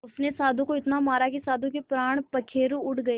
उसने साधु को इतना मारा कि साधु के प्राण पखेरु उड़ गए